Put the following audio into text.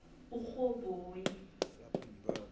urhoboyi